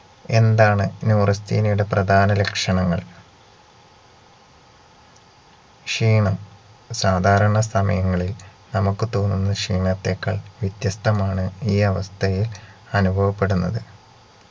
എന്താണ് neurasthenia യുടെ പ്രധാനലക്ഷണങ്ങൾ ക്ഷീണം സാദാരണ സമയങ്ങളിൽ നമുക്ക് തോന്നുന്ന ക്ഷീണത്തെക്കാൾ വ്യത്യസ്തമാണ് ഈ അവസ്ഥയിൽ അനുഭവപ്പെടുന്നത്